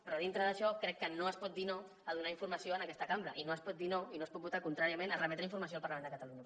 però dintre d’això crec que no es pot dir no a donar informació en aquesta cambra i no es pot dir no i no es pot votar contràriament a remetre informació al parlament de catalunya